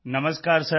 Namaskar sir